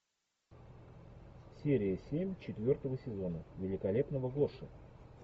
серия семь четвертого сезона великолепного гоши